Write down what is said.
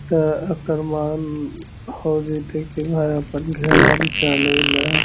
त अकर्माण हो जयते के भाई अपन घरा मे चल अइला ।